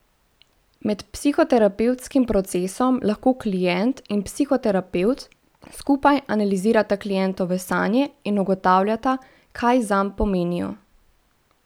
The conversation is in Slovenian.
Med psihoterapevtskim procesom lahko klient in psihoterapevt skupaj analizirata klientove sanje in ugotavljata, kaj zanj pomenijo.